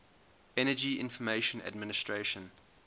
energy information administration